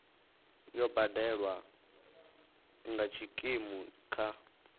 yo badelwa nga tshikimu kha